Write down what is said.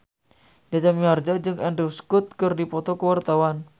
Jaja Mihardja jeung Andrew Scott keur dipoto ku wartawan